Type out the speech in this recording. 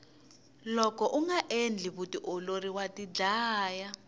loko unga endli vutiolori wa tidlaya